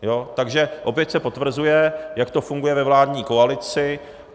Takže opět se potvrzuje, jak to funguje ve vládní koalici